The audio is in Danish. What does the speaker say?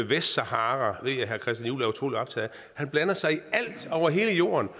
vestsahara han blander sig i alt over hele jorden